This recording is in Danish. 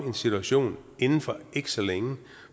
en situation inden ikke så længe